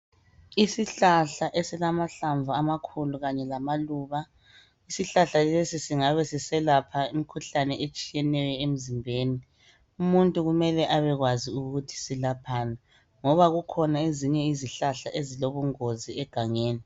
Isihlahla esilamahlamvu amakhulu, kanye lamaluba. Isihlahla lesi, singabe siselapha imikhuhlane etshiyeneyo emzimbeni. Umuntu kumele abekwazi ukuthi selaphani, ngoba zikhona izihlahla ezilobungozi egangeni.